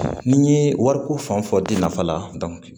Ni n ye wariko fan fɔ den nafa la